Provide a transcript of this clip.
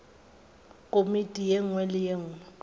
komiti ye nngwe le ye